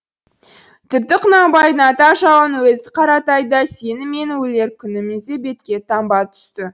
тіпті құнанбайдың ата жауының өзі қаратай да сені мен менің өлер күнімізде бетке таңба түсті